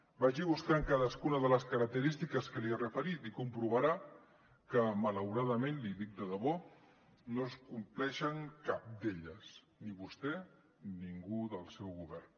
vagi buscant cadascuna de les característiques que li he referit i comprovarà que malauradament l’hi dic de debò no en compleixen cap d’elles ni vostè ni ningú del seu govern